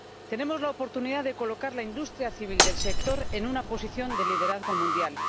Tenemos la oportunidad de colocar la industria civil del sector en una posición de liderazgo mundial.